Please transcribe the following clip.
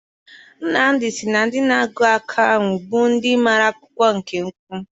Nnamdi sị na ndị na-agụ ọkaiwu bụ ndị mara akwụkwọ nke ukwuu.